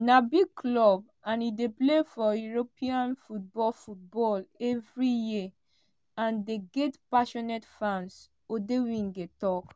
“na big club and e dey play for european football football evri year and dem get passionate fans” odemwingie tok.